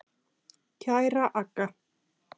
Kæra Agga.